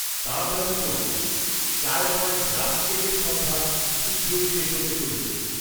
তাড়াতাড়ি করুন, Chai point rusk কেকের সম্ভার শীঘ্রই শেষ হতে চলেছে